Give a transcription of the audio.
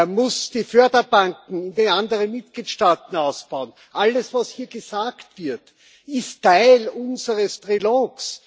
Er muss die Förderbanken der anderen Mitgliedstaaten ausbauen. Alles, was hier gesagt wird, ist Teil unseres Trilogs.